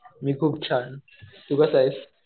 मी खूप छान. तू कसा आहेस?